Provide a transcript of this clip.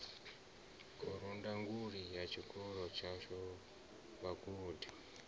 khorondanguli ya tshikolo tshashu vhagudi